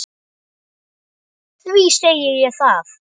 Því segi ég það.